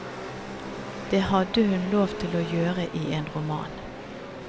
Det hadde hun lov til å gjøre i en roman.